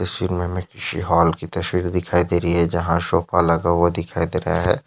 Hall की तस्वीर दिखाई दे रही है जहा सोफा लगा हुआ दिखाई दे रहा है।